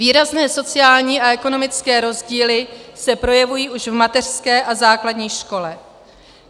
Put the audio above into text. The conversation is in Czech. Výrazné sociální a ekonomické rozdíly se projevují už v mateřské a základní škole.